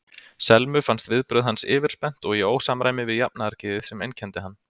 Selmu fannst viðbrögð hans yfirspennt og í ósamræmi við jafnaðargeðið sem einkenndi hann.